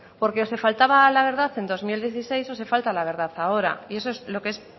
porque se faltaba a la verdad en dos mil dieciséis o se falta a la verdad ahora y eso es lo que es